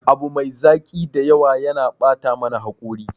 Abu mai zaki da yawa yana bata mana hakori.